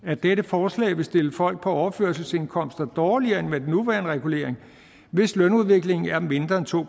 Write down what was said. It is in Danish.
at dette forslag vil stille folk på overførselsindkomster dårligere end med den nuværende regulering hvis lønudviklingen er mindre end to